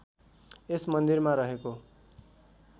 यस मन्दिरमा रहेको